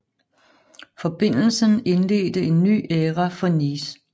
Forbindelsen indledte en ny æra for Nice